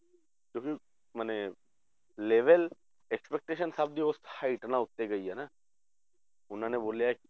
ਤੇ ਵੀ ਮਨੇ level expectation ਸਭ ਦੀ ਉਸ height ਨਾਲੋਂ ਉੱਤੋਂ ਗਈ ਆ ਨਾ ਉਹਨਾਂ ਨੇ ਬੋਲਿਆ